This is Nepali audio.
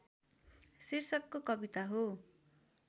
शीर्षकको कविता हो